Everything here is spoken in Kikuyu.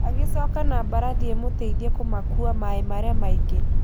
Agĩcoka na mbarathi ĩmũteithie kũmakuua maaĩ marĩa mangĩ.